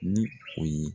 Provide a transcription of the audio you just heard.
Ni o ye